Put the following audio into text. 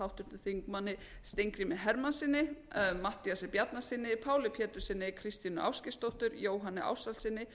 háttvirtum þingmönnum steingrími hermannssyni matthíasi bjarnasyni páli péturssyni kristínu ástgeirsdóttur jóhanni ársælssyni